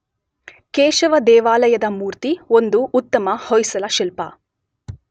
ಕೇಶವ ದೇವಾಲಯದ ಮೂರ್ತಿ ಒಂದು ಉತ್ತಮ ಹೊಯ್ಸಳ ಶಿಲ್ಪ.